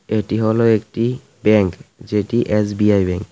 এটি হলো একটি ব্যাংক যেটি এস_বি_আই ব্যাংক ।